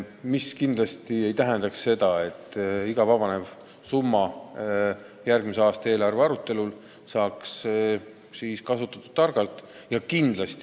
See aga ei tähenda kindlasti seda, et iga vabanevat summat ei saaks järgmise aasta eelarves targalt kasutada.